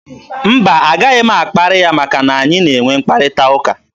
Mba, a gaghị m akparị ya maka na anyị na-enwe mkparịta ụka.